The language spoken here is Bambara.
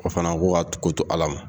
O fana ko ka ko to Ala ma.